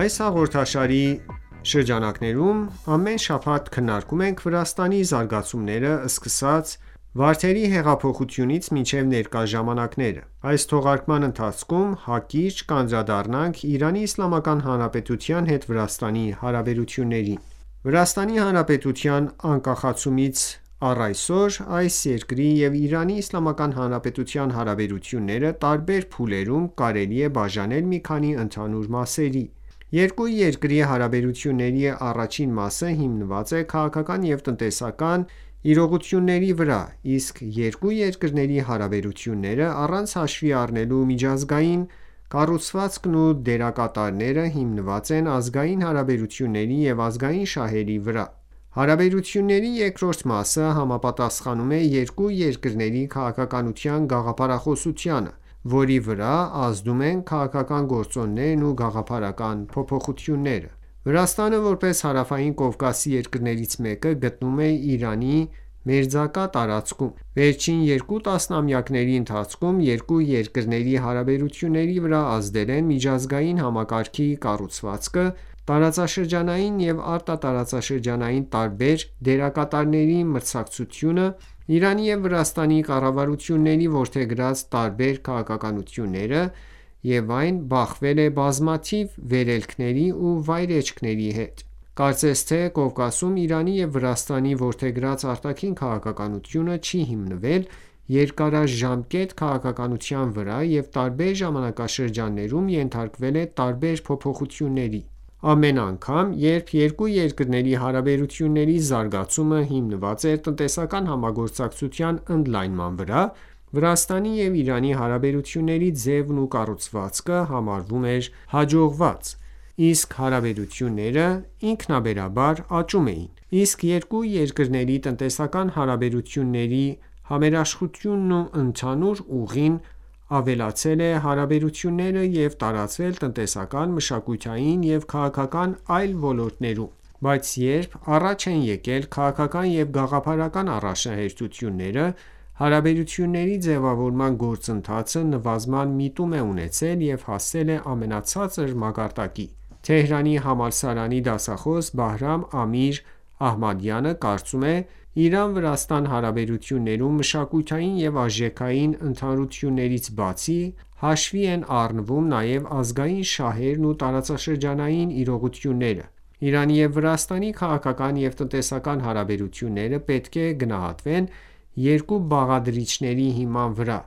Այս հաղորդաշարի շրջանակներում ամեն շաբաթ քննարկում ենք Վրաստանի զարգացումները՝ սկսած Վարդերի հեղափոխությունից մինչև ներկա ժամանակները։ Այս թողարկման ընթացքում հակիրճ կանդրադառնանք Իրանի Իսլամական Հանրապետության հետ Վրաստանի հարաբերություններին ։ Վրաստանի Հանրապետության անկախացումից առայսօր այս երկրի և Իրանի Իսլամական Հանրապետության հարաբերությունները տարբեր փուլերում՝ կարելի է բաժանել մի քանի ընդհանուր մասերի: Երկու երկրի հարաբերությունների առաջին մասը հիմնված է քաղաքական և տնտեսական իրողությունների վրա, իսկ երկու երկրների հարաբերությունները, առանց հաշվի առնելու միջազգային կառուցվածքն ու դերակատարները հիմնված են ազգային հարաբերությունների և ազգային շահերի վրա։ Հարաբերությունների երկրորդ մասը համապատասխանում է երկու երկրների քաղաքականության գաղափարախոսությանը, որի վրա ազդում են քաղաքական գործոններն ու գաղափարական փոփոխությունները։ Իրանի և Վրաստանի պատմական, քաղաքակրթական և մշակութային ընդհանրությունները Վրաստանը, որպես Հարավային Կովկասի երկրներից մեկը, գտնվում է Իրանի մերձակա տարածքում։ Վերջին երկու տասնամյակների ընթացքում երկու երկրների հարաբերությունների վրա ազդել են միջազգային համակարգի կառուցվածքը, տարածաշրջանային և արտատարածաշրջանային տարբեր դերակատարների մրցակցությունը, Իրանի և Վրաստանի կառավարությունների որդեգրած տարբեր քաղաքականությունները և այն բախվել է բազմաթիվ վերելքների ու վայրէջքների հետ: Կարծես թե Կովկասում Իրանի և Վրաստանի որդեգրած արտաքին քաղաքականությունը չի հիմնվել երկարաժամկետ քաղաքականության վրա և տարբեր ժամանակաշրջաններում ենթարկվել է տարբեր փոփոխությունների։ Ամեն անգամ, երբ երկու երկրների հարաբերությունների զարգացումը հիմնված էր տնտեսական համագործակցության ընդլայնման վրա, Վրաստանի և Իրանի հարաբերությունների ձևն ու կառուցվածքը համարվում էր հաջողված, իսկ հարաբերությունները ինքնաբերաբար աճում էին։ Իսկ երկու երկրների տնտեսական հարաբերությունների համերաշխությունն ու ընդհանուր ուղին ավելացրել է հարաբերությունները և տարածվել տնտեսական, մշակութային և քաղաքական այլ ոլորտներում։ Բայց երբ առաջ են եկել քաղաքական և գաղափարական առաջնահերթությունները, հարաբերությունների ձևավորման գործընթացը նվազման միտում է ունեցել և հասել է ամենացածր մակարդակների։ Թեհրանի համալսարանի դասխոս Բահրամ Ամիր Ահմադյանը կարծում է.«Իրան-Վրաստան հարաբերություններում, մշակութային և արժեքային ընդհանրություններից բացի, հաշվի են առնվում նաև ազգային շահերն ու տարածաշրջանային իրողությունները։ Իրանի և Վրաստանի քաղաքական և տնտեսական հարաբերությունները պետք է գնահատվեն երկու բաղադրիչների հիման վրա,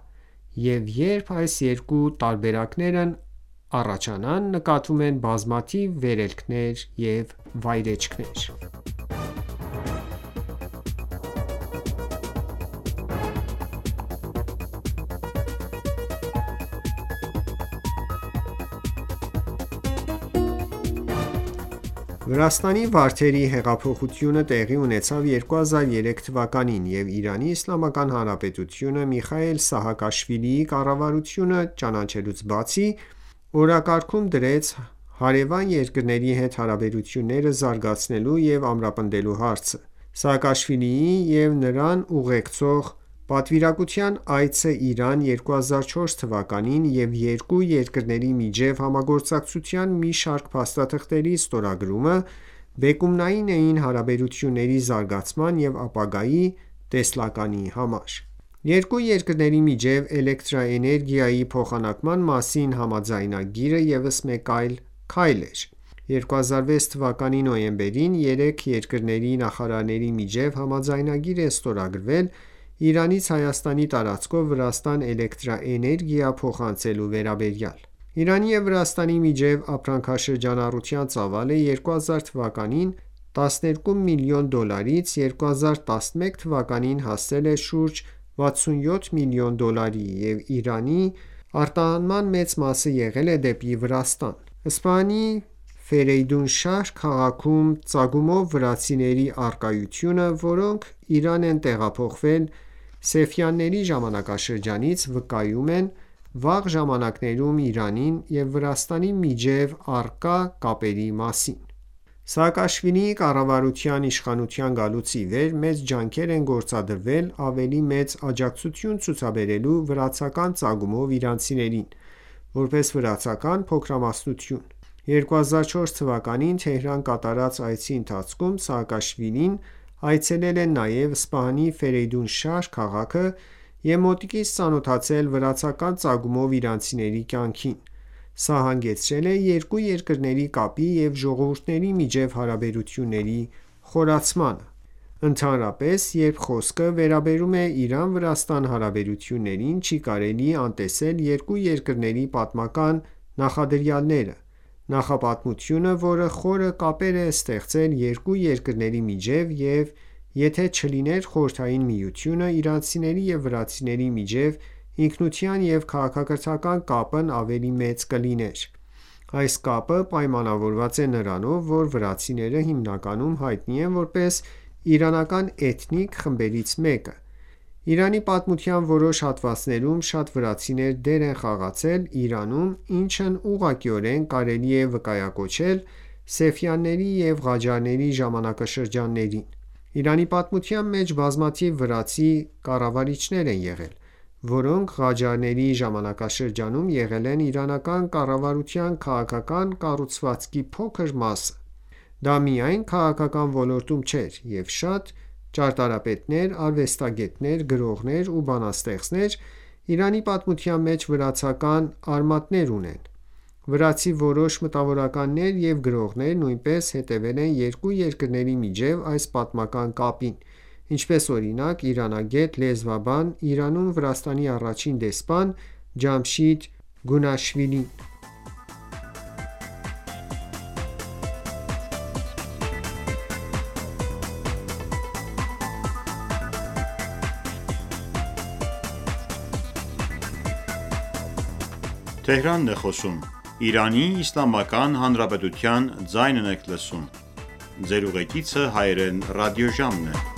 և երբ այս երկու տարբերակներն առաջանան, նկատվում են բազմաթիվ վերելքներ և վայրէջքներ»: Սպահանի Ֆերեյդունշահր քաղաքի վրացիներ Վրաստանի վարդերի հեղափոխությունը տեղի ունեցավ 2003 թվականին, և Իրանի Իսլամական Հանրապետությունը Միխայիլ Սահակաշվիլիի կառավարությունը ճանաչելուց բացի, օրակարգում դրեց` հարևան երկրների հետ հարաբերությունները զարգացնելու և ամրապնդելու հարցը։ Սաակաշվիլիի և նրան ուղեկցող պատվիրակության այցը Իրան 2004 թվականին և երկու երկրների միջև համագործակցության մի շարք փաստաթղթերի ստորագրումը բեկումնային էին հարաբերությունների զարգացման և ապագայի տեսլականի համար։ Երկու երկրների միջև էլեկտրաէներգիայի փոխանակման մասին համաձայնագիրը ևս մեկ քայլ էր։ 2006 թվականի նոյեմբերին երեք երկրների նախարարների միջեւ համաձայնագիր է ստորագրվել Իրանից Հայաստանի տարածքով Վրաստան էլեկտրաէներգիա փոխանցելու վերաբերյալ։ Իրանի և Վրաստանի միջև ապրանքաշրջանառության ծավալը 2000 թվականի 12 միլիոն դոլարից 2011 թվականին հասել Է շուրջ 67 միլիոն դոլարի և Իրանի արտահանման մեծ մասը եղել է դեպի Վրաստան։ Սպահանի Ֆերեյդունշահր քաղաքում ծագումով վրացիների առկայությունը, որոնք Իրան են տեղափոխվել Սեֆյանների ժամանակաշրջանից վկայում է վաղ ժամանակներում Իրանի և Վրաստանի միջև առկա կապերի մասին։ Սահակաշվիլիի կառավարության իշխանության գալուց ի վեր, մեծ ջանքեր են գործադրվել ավելի մեծ աջակցություն ցուցաբերելու վրացական ծագումով իրանցիներին՝ որպես վրացական փոքրամասնություն: 2004 թվականին Թեհրան կատարած այցի ընթացքում Սահակաշվիլին այցելել է նաև Սպահանի Ֆերեյդունշահր քաղաքը և մոտիկից ծանոթացել վրացական ծագումով իրանցիների կյանքին։ Սա հանգեցրել է երկու երկրների կապի և ժողովուրդների միջև հարաբերությունների խորացմանը: Ընդհանրապես երբ խոսքը վերաբերում է Իրան-Վրաստան հարաբերություններին, չի կարելի անտեսել երկու երկրների պատմական նախադրյալները։ Նախապատմություն, որը խորը կապեր է ստեղծել երկու երկրների միջև, և եթե չլիներ Խորհրդային Միությունը, իրանցիների և վրացիների միջև ինքնության և քաղաքակրթական կապն ավելի մեծ կլիներ: Այս կապը պայմանավորված է նրանով, որ վրացիները հիմնականում հայտնի են որպես իրանական էթնիկ խմբերից մեկը։ Իրանի պատմության որոշ հատվածներում շատ վրացիներ դեր են խաղացել Իրանում, ինչն ուղղակիորեն կարելի է վկայակոչել Սեֆյանների և Ղաջարների ժամանակաշրջաններին: Իրանի պատմության մեջ բազմաթիվ վրացի կառավարիչներ են եղել, որոնք Ղաջարյանների ժամանակաշրջանում եղել են իրանական կառավարության քաղաքական կառուցվածքի փոքր մասը։ Դա միայն քաղաքական ոլորտում չէր, և շատ ճարտարապետներ, արվեստագետներ, գրողներ և բանաստեղծներ Իրանի պատմության մեջ վրացական արմատներ ունեն։ Վրացի որոշ մտավորականներ և գրողներ նույնպես հետևել են երկու երկրների միջև այս պատմական կապին, ինչպես, օրինակ, իրանագետ, լեզվաբան, Իրանում Վրաստանի առաջին դեսպան Ջամշիդ Գյունաշվիլին: Իրանի վրացիները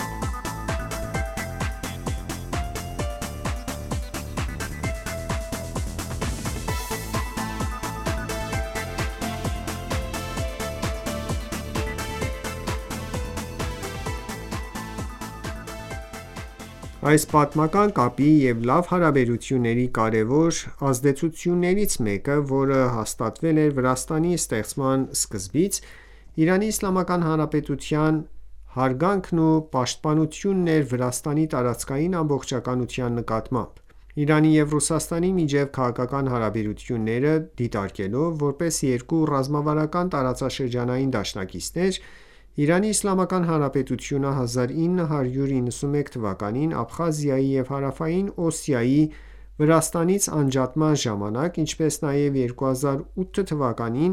Այս պատմական կապի և լավ հարաբերությունների կարևոր ազդեցություններից մեկը, որը հաստատվել էր Վրաստանի ստեղծման սկզբից, Իրանի Իսլամական Հանրապետության հարգանքն ու պաշտպանությունն էր Վրաստանի տարածքային ամբողջականության նկատմամբ։ Իրանի և Ռուսաստանի միջև քաղաքական հարաբերությունները դիտարկելով որպես երկու ռազմավարական տարածաշրջանային դաշնակիցներ՝ Իրանի Իսլամական Հանրապետությունը 1991 թվականին Աբխազիայի և Հարավային Օսիայի Վրաստանից անջատման ժամանակ, ինչպես նաև 2008 թվականին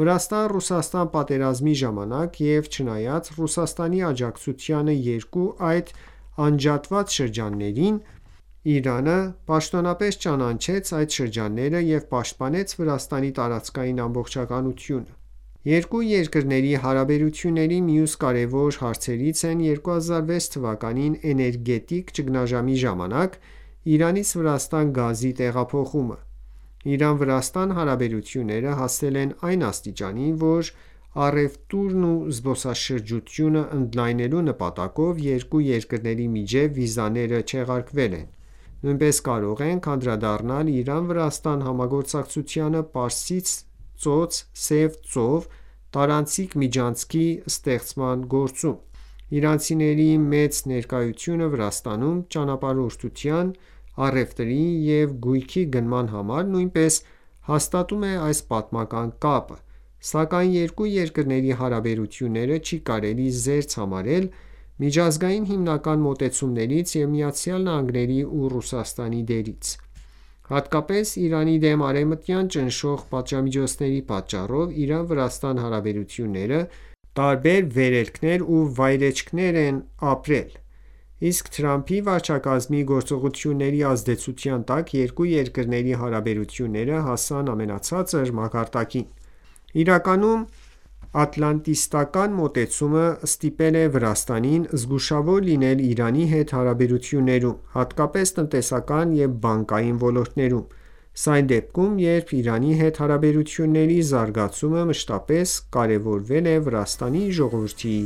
Վրաստան-Ռուսաստան պատերազմի ժամանակ և չնայած Ռուսաստանի աջակցությանը երկու այդ անջատված շրջաններիվ, Իրանը պաշտոնապես չճանաչեց այդ շրջանները և պաշտպանեց Վրաստանի տարածքային ամբողջականությունը։ Երկու երկրների հարաբերությունների մյուս կարևոր հարցերից են 2006 թվականին Էներգետիկ ճգնաժամի ժամանակ Իրանից Վրաստան գազի տեղափոխումը։ Իրան-Վրաստան հարաբերությունները հասել են այն աստիճանի, որ առևտուրն ու զբոսաշրջությունը ընդլայնելու նպատակով երկու երկրների միջև վիզաները չեղարկվել են։ Նույնպես կարող ենք անդրադառնալ Իրան-Վրաստան համագործակցությանը Պարսից ծոց-Սև ծով տարանցիկ միջանցքի ստեղծման գործում։ Իրանցիների մեծ ներկայությունը Վրաստանում ճանապարհորդության, առևտրի և գույքի գնման համար նույնպես հաստատում է այս պատմական կապը, սակայն երկու երկրների հարաբերությունները չի կարելի զերծ համարել միջազգային հիմնական մոտեցումներից և ԱՄՆ-ի և Ռուսաստանի դերից։ Հատկապես Իրանի դեմ արևմտյան ճնշող պատժամիջոցների պատճառով Իրան-Վրաստան հարաբերությունները տարբեր վերելքներ ու վայրէջքներ են ապրել։ Իսկ Թրամփի վարչակազմի գործողությունների ազդեցության տակ երկու երկրների հարաբերությունները հասան ամենացածր մակարդակին։ Իրականում, ատլանտիստական ​​մոտեցումը ստիպել է Վրաստանին զգուշավոր լինել Իրանի հետ հարաբերություններում, հատկապես տնտեսական և բանկային ոլորտներում։ Սա այն դեպքում, երբ Իրանի հետ հարաբերությունների զարգացումը մշտապես կարևորվել է Վրաստանի ժողովրդի